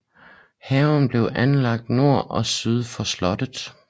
Haven blev anlagt nord og syd for slottet